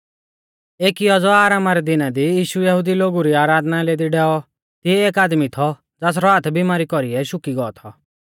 एकी औज़ौ आरामा रै दिना दी यीशु यहुदी लोगु री आराधनालय दी डैऔ तिऐ एक आदमी थौ ज़ासरौ हाथ बीमारी कौरीऐ शुकी गौ थौ